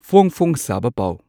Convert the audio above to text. ꯐꯣꯡ ꯐꯣꯡ ꯁꯥꯕ ꯄꯥꯎ